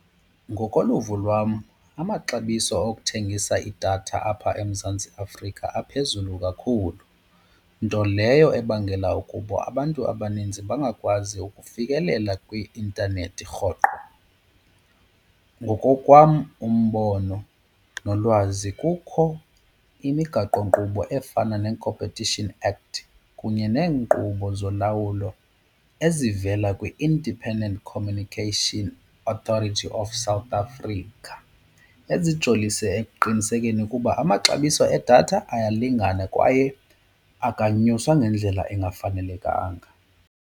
Ngokoluvo lwam amaxabiso okuthengisa idatha apha eMzantsi Afrika aphezulu kakhulu nto leyo ebangela ukuba abantu abaninzi bangakwazi ukufikelela kwi-intanethi rhoqo. Ngokokwam umbono nolwazi kukho imigaqonkqubo efana neeCompetition Act kunye neenkqubo zolawulo ezivela kwi-Independent Communication Authority of South Africa ezijolise ekuqinisekeni kuba amaxabiso edatha ayalingana kwaye akanyuswa ngendlela engafanelekanga.